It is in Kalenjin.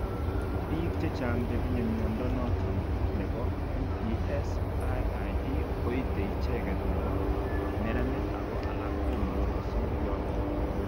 Biik chechang chetinye mnyondo noton nebo MPS IID koite icheget nebo neranik ago alak komuche kosir yoton